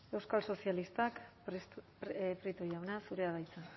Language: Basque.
euskal sozialistak prieto jauna zurea da hitza